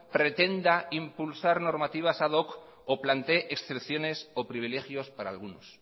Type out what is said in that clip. pretenda impulsar normativas ad hoc o plantee estricciones o privilegios para algunos